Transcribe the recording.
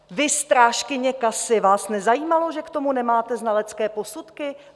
Vy, strážkyně kasy, vás nezajímalo, že k tomu nemáte znalecké posudky?